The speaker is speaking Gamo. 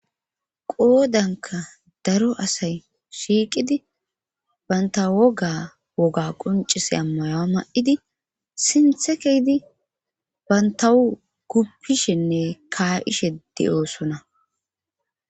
qoodanka daro asay shiiqidi baynta woga woga qoncise ammayowa ma7idi sinthe kehdi bantawu guppishenne kaa7ishe de7oosona